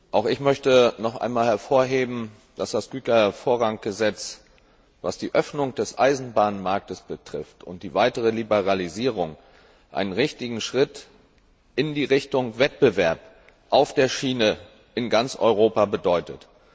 Auch ich möchte noch einmal hervorheben, dass das Gütervorranggesetz, was die Öffnung des Eisenbahnmarktes und die weitere Liberalisierung betrifft, einen richtigen Schritt in Richtung Wettbewerb auf der Schiene in ganz Europa bedeutet.